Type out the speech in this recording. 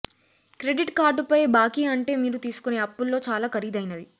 credit కార్డుపై బాకీ అంటే మీరు తీసుకునే అప్పుల్లో చాలా ఖరీదైనది